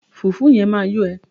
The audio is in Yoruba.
Fùfú yẹn máa yó ẹ.